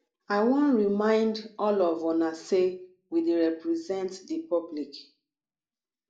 i wan remind all of una say we dey represent the public